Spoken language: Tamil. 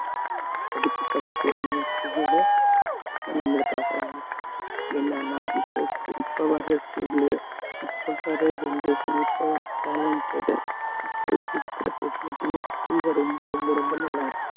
எதுக்கு கத்துக்கொடுங்கன்னு என்னன்னா இப்ப scho~ இப்ப வர school லயே இப்ப வர generation இப்ப ஒரு talented இப்ப இருக்கிற facility யும் school ல ரொம்ப ரொம்ப ரொம்ப நல்லா இருக்கு